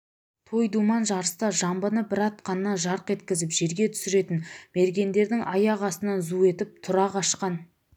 той-думан жарыста жамбыны бір атқаннан жарқ еткізіп жерге түсіретін мергендердің аяқ астынан зу етіп тұра қашқан